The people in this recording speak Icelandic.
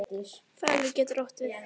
Falur getur átt við